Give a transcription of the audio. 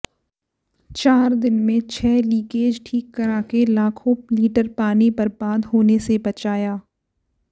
चार दिन में छह लीकेज ठीक कराके लाखों लीटर पानी बर्बाद होने से बचाया